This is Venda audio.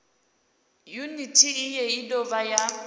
yuniti iyi i dovha ya